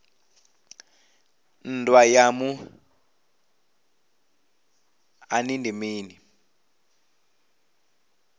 nndwa ya muṱani ndi mini